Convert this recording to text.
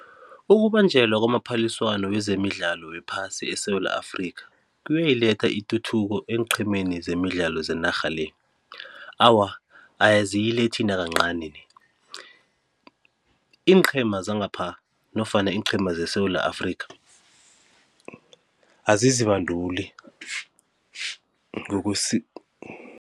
Ukubanjelwa kwamaphaliswano wezemidlalo wephasi eSewula Afrikha, kuyayiletha ituthuko eenqhemeni zemidlalo zenarha le? Awa, aziyilethi nakancani ni. Iinqhema zangapha nofana iinqhema zeSewula Afrikha azizibanduli ngokusi